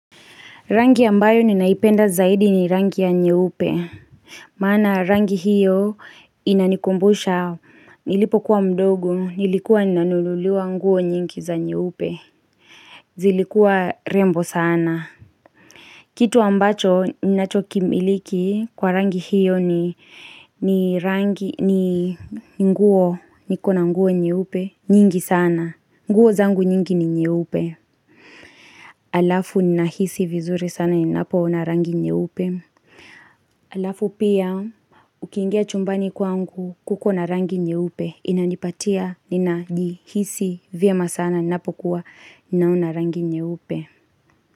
Rangi ambayo ninaipenda zaidi ni rangi ya nye upe. Mana rangi hiyo inanikumbusha. Nilipo kuwa mdogo. Nilikuwa nanululua nguo nyingi za nye upe. Zilikuwa rembo sana. Kitu ambacho ninachokimiliki kwa rangi hiyo ni rangi ni nguo nikona nguo nye upe. Nyingi sana. Nguo zangu nyingi ni nye upe. Alafu ni nahisi vizuri sana inapo na rangi nye upe. Alafu pia ukingia chumbani kwangu kukona rangi nye upe inanipatia nina jihisi vya masana napokuwa ninauna rangi nye upe.